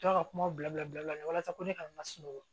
To ka kumaw bila bila bila la walasa ko ne kana na sunɔgɔ